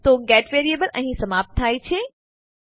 તો get variable અહીં સમાપ્ત થાય છે